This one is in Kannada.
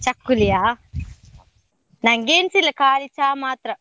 ಚಕ್ಕುಲಿಯಾ, ನಂಗೆ ಎನ್ಸ ಇ ಲ್ಲ, ಖಾಲಿ ಚಾ ಮಾತ್ರ.